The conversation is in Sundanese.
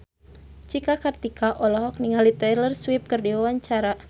Cika Kartika olohok ningali Taylor Swift keur diwawancara